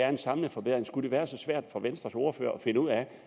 en samlet forbedring skulle være så svært for venstres ordfører at finde ud af